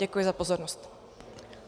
Děkuji za pozornost.